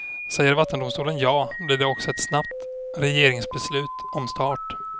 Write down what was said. Säger vattendomstolen ja, blir det också ett snabbt regeringsbeslut om start.